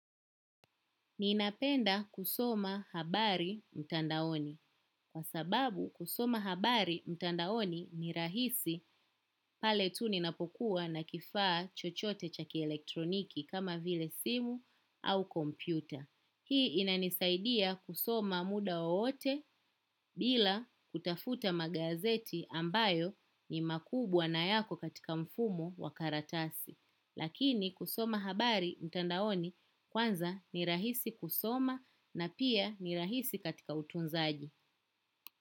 Ninapenda kusoma habari mtandaoni. Kwa sababu kusoma habari mtandaoni ni rahisi pale tu ninapokuwa na kifaa chochote cha kielektroniki kama vile simu au kompyuta. Hii inanisaidia kusoma mda wowote bila kutafuta magazeti ambayo ni makubwa na yako katika mfumo wa karatasi. Lakini kusoma habari mtandaoni kwanza ni rahisi kusoma na pia ni rahisi katika utunzaji.